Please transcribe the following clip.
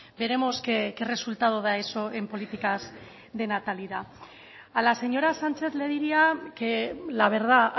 veremos qué resultado da eso en políticas de natalidad a la señora sánchez le diría que la verdad